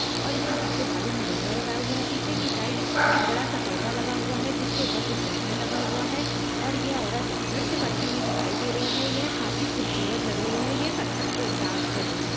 और इसने पीछे बालों मे गजरा लगाया हुआ है पीछे की साइड एक बड़ा सा पर्दा लगा हुआ है जिस के ऊपर कुछ बैनर लगा हुआ है और ये औरत नृत्य करती हुई दिखाई दे रही है यह काफी खूबसूरत लगा रही है और यह कथक डांस कर रही है ।